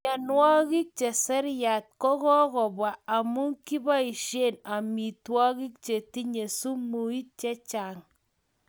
Mianug'ik che seriat ko kokobwa amu kiboishe amitwogik chetinye sumut chechang'